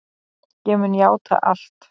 Ég mun játa allt.